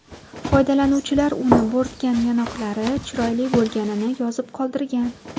Foydalanuvchilar uni bo‘rtgan yonoqlari chiroyli bo‘lganini yozib qoldirgan.